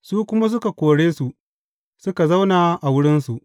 Su kuma suka kore su, suka zauna a wurinsu.